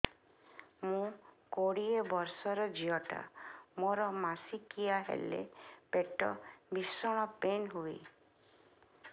ମୁ କୋଡ଼ିଏ ବର୍ଷର ଝିଅ ଟା ମୋର ମାସିକିଆ ହେଲେ ପେଟ ଭୀଷଣ ପେନ ହୁଏ